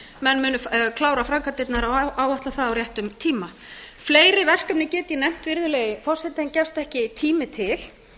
menn munu klára framkvæmdirnar og áætla það á réttum tíma fleiri verkefni get ég nefnt virðulegi forseti en gefst ekki tími til